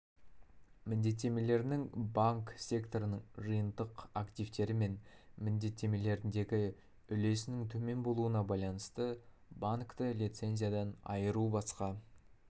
міндеттемелерінің банк секторының жиынтық активтері мен міндеттемелеріндегі үлесінің төмен болуына байланысты банкті лицензиядан айыру басқа